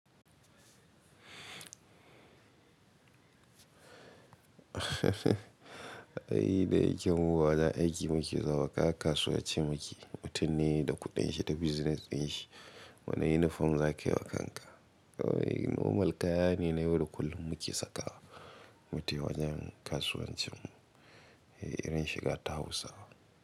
Ai dayike mu wajen aiki muke zaune wa kasuwa ce muke, mutunne da kuɗin shi da business din shi. Wani uniform za ka yi wa kanka? Normal kaya ne na yau da kullum muke saka wa, mu taiwajen kasuwancin mu, irin shiga ta Hausawa.